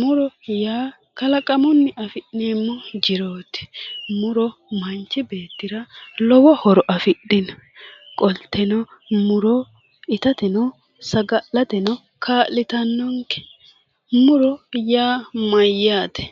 Muro yaa kalaqamunni afi'neemmo jiroti, muro manchi beettira lowo horo afidhino .qolteno muro ittateno saga'lateno kaa'littanonke. Muro yaa mayate?